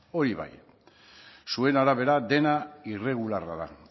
hori bai zuena da bera dena irregularra da